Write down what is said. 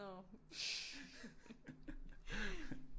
Nå